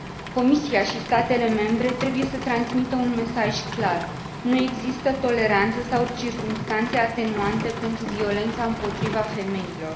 Comisia și statele membre trebuie să transmită un mesaj clar nu există toleranță sau circumstanțe atenuante pentru violența împotriva femeilor.